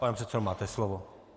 Pane předsedo, máte slovo.